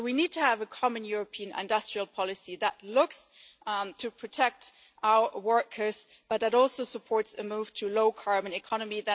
So we need to have a common European industrial policy that looks to protect our workers but that also supports a move to a low carbon economy.